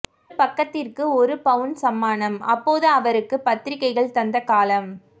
ஒரு பக்கத்திற்கு ஒரு பவுன் சன்மானம் அப்போது அவருக்கு பத்திரிக்கைகள் தந்த காலம்